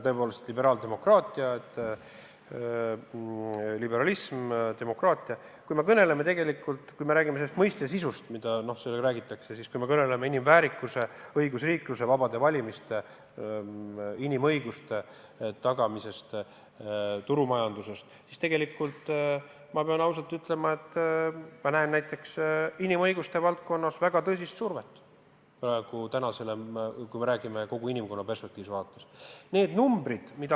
Tõepoolest, liberaaldemokraatia, liberalism, demokraatia – kui me räägime nende mõistete sisust, kui me kõneleme inimväärikusest, õigusriiklusest, vabadest valimistest, inimõiguste tagamisest, turumajandusest, siis ma pean ausalt ütlema, et ma näen näiteks inimõiguste valdkonnas praegu väga tõsist survet, kui me peame silmas kogu inimkonna perspektiivi.